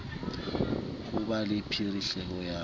ho ba le phihlelo ya